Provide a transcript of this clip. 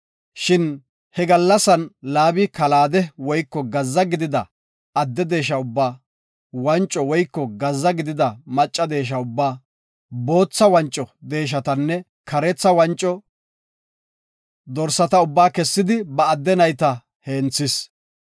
Shin he gallasan Laabi kalaade woyko gazza gidida kole ubba, wanco woyko gazza gidida macca deesha ubba, bootha wanco deeshatanne kareetha wanco dorsata ubba kessidi ba adde nayta heenthis.